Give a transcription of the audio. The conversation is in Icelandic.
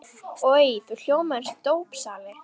Oj, þú hljómar eins og dópsali.